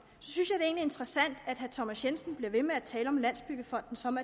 synes at det er interessant at herre thomas jensen bliver ved med at tale om landsbyggefonden som